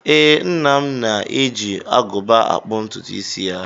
Ee, nna m na-eji agụba akpụ ntụtụisi ya